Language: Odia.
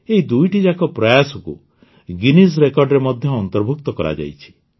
ଏହି ଦୁଇଟିଯାକ ପ୍ରୟାସକୁ ଗିନିଜ୍ ରେକର୍ଡ଼ରେ ମଧ୍ୟ ଅନ୍ତର୍ଭୁକ୍ତ କରାଯାଇଛି